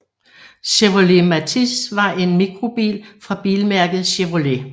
Chevrolet Matiz var en mikrobil fra bilmærket Chevrolet